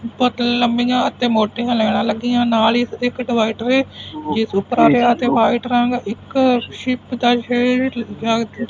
ਬਹੁਤ ਤੇ ਲੰਮੀਆਂ ਤੇ ਮੋਟੀਆਂ ਲੈਣਾ ਲੱਗੀਆਂ ਨਾਲ ਹੀ ਇਸ ਦੇ ਵਾਈਟ ਰੰਗ ਇੱਕ ਸ਼ਿਪ ਦਾ ਸ਼ੇਡ